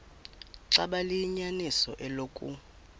xaba liyinyaniso eloku